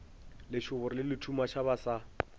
lešoboro le lethumaša ba sa